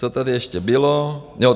Co tady ještě bylo?